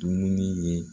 Dumuni ye